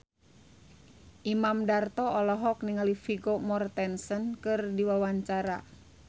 Imam Darto olohok ningali Vigo Mortensen keur diwawancara